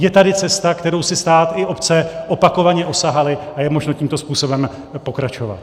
Je tady cesta, kterou si stát i obce opakovaně osahaly, a je možno tímto způsobem pokračovat.